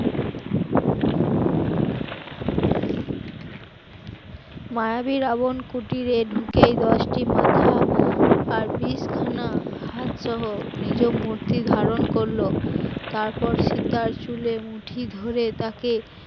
মায়াবী রাবণ কুটিরে ঢুকে দশটি মাথা আর বিষ খানা হাতসহ নিজ মূর্তি ধারণ করল, তারপর সীতার চুলের মুঠি ধরে তাকে